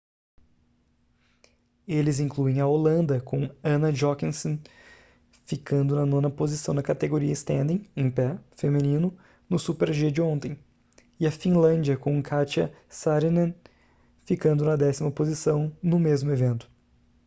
eles incluem a holanda com anna jochemsen ficando na nona posição na categoria standing em pé feminino no super-g de ontem e a finlândia com katja saarinen ficando na décima posição no mesmo evento